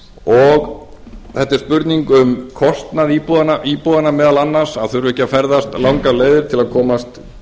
og þetta er spurning um kostnað íbúanna meðal annars að þurfa ekki að ferðast langar leiðir til að komast